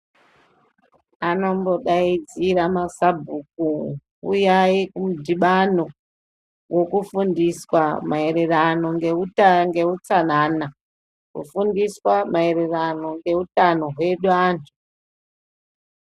Anombodaidzira masabhuku uyayi kumudhibano wokufundiswa maererano neutsanana kufundiswa maererano neutano hwedu anhu.